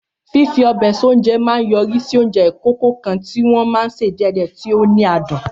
Fífi ọbẹ̀ sí oúnjẹ máa ń yọrí sí oúnjẹ ìkòkò kan tí wọ́n sè díẹ̀díẹ̀, tí ó ní adùn.